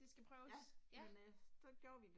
Det skal prøves, ja